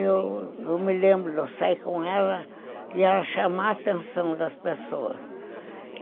Eu me lembro de sair com ela e ela chamar a atenção das pessoas.